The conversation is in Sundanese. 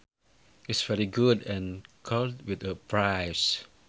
is very good and could win a prize